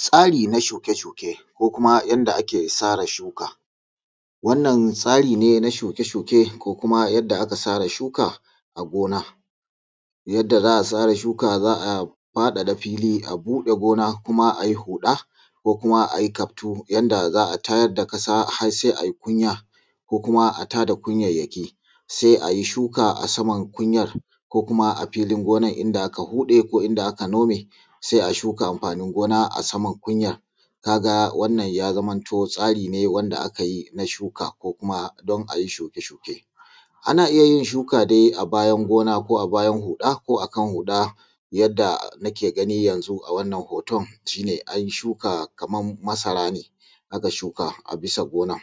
tsari na shuke shuke ko kuma yanda ake tsara shuka wannan tsari ne na shuke shuke da kuma yanda aka tsara shuka a gona za’a fadada fili a buda gona ayi huda ko kuma ayi kaftu yadda za’a tayar da kasa har sai anyi kunya kuma a tada kunyayyaki sai ayi shuka a saman kunyan ko kuma abida gonar inda aka hude ko inda aka nome sai a shuka amfanin gona a saman kunyan kaga wannan yazamto tsari ne wanda a kayi na shuka ko kuma dan ayi shuke shuke anayin shuka dai bayan gona ko bayan huda yadda ake gani yanzu ga wannan hoton an shuka Kaman masara ne aka shuka Kaman a gonan